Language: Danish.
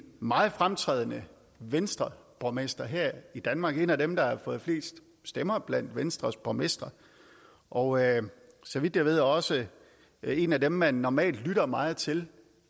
meget fremtrædende venstreborgmester her i danmark han er en af dem der har fået flest stemmer blandt venstres borgmestre og så vidt jeg ved er han også en af dem man normalt lytter meget til